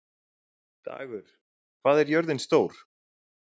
Dagur, hvað er jörðin stór?